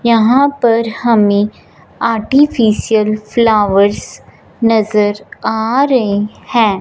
यहां पर हमें आर्टिफिशियल फ्लॉवर्स नजर आ रहे हैं।